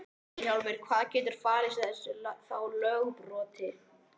Vilhjálmur, hvað getur falist í þessu þá lögbroti?